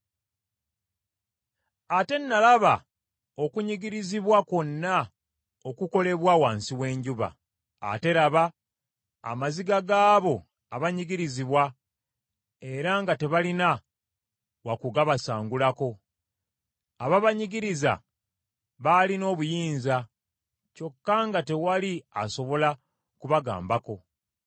Ate nalaba okunnyigirizibwa kwonna okukolebwa wansi w’enjuba. Ate laba, amaziga gaabo abanyigirizibwa, era nga tebalina wakugabasangulako! Ababanyigiriza baalina obuyinza, kyokka nga tewali asobola kubagambako.